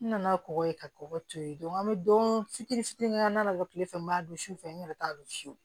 N nana kɔgɔ ye ka kɔgɔ to yen dɔn an bɛ don fitiri fitinin k'an na bɔ kile fɛ n b'a don sufɛ n yɛrɛ t'a dɔn fiyewu